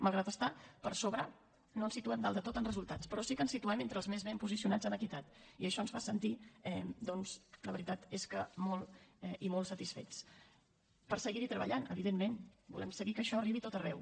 malgrat estar per sobre no ens situem dalt de tot en resultats però sí que ens situem entre els més ben posicionats en equitat i això ens fa sentir doncs la veritat és que molt i molt satisfets per seguir hi treballant evidentment volem seguir que això arribi a tot arreu